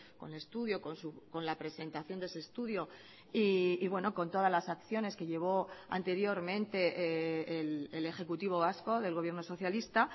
con estudio con la presentación de ese estudio y bueno con todas las acciones que llevó anteriormente el ejecutivo vasco del gobierno socialista